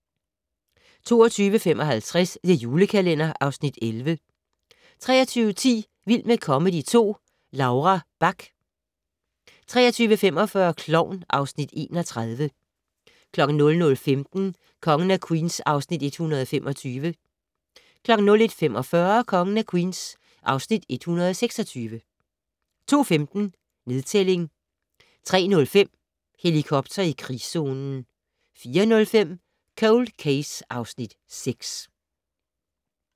22:55: The Julekalender (Afs. 11) 23:10: Vild med comedy 2 - Laura Bach 23:45: Klovn (Afs. 31) 01:15: Kongen af Queens (Afs. 125) 01:45: Kongen af Queens (Afs. 126) 02:15: Nedtælling 03:05: Helikopter i krigszonen 04:05: Cold Case (Afs. 6)